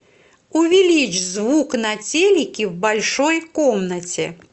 увеличь звук на телике в большой комнате